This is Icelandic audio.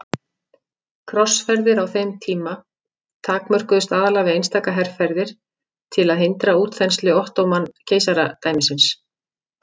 Krossferðir á þeim tíma takmörkuðust aðallega við einstaka herferðir til að hindra útþenslu Ottóman-keisaradæmisins.